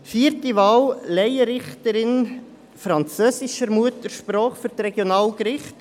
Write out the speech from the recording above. Vierte Wahl: Laienrichterin französischer Muttersprache für die Regionalgerichte.